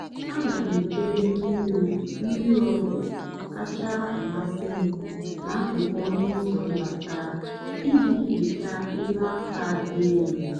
a na m edobe mmiri mmiri ọgwụ kacha amasị m n'akụkụ ọnụ ụzọ mbata iji hichaa elu aka dị elu.